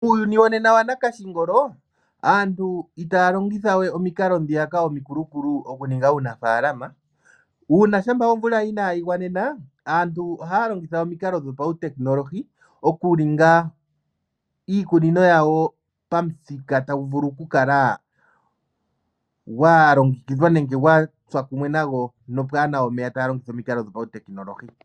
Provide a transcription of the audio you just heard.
Uuyuni wonena wokongolo, aantu itaya longitha we omikalo ndhiyaka omikulu okuninga uunafaalama. Shampa omvula inaayi gwanena, aantu ohaya longitha omikalo dhopautekinolohi, okuninga iikunino yawo pamuthika tagu vulu okukala gwa longekidhwa nenge gwa tsa kumwe nago nopwaa na we omeya taya longitha omikalo dhopautekinolohi.